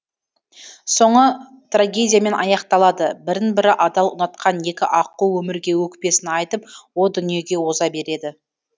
соңы трагедиямен аяқталады бірін бірі адал ұнатқан екі аққу өмірге өкпесін айтып о дүниеге оза береді